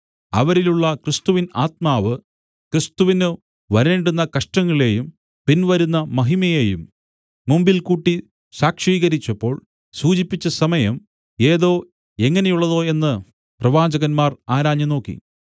അവരിലുള്ള ക്രിസ്തുവിൻ ആത്മാവ് ക്രിസ്തുവിന് വരേണ്ടുന്ന കഷ്ടങ്ങളെയും പിൻവരുന്ന മഹിമയേയും മുമ്പിൽകൂട്ടി സാക്ഷീകരിച്ചപ്പോൾ സൂചിപ്പിച്ച സമയം ഏതോ എങ്ങനെയുള്ളതോ എന്ന് പ്രവാചകന്മാർ ആരാഞ്ഞുനോക്കി